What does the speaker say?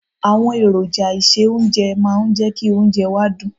Àwọn èròjà ìse oúnjẹ máa ń jẹ́ kí oúnjẹ wa dùn.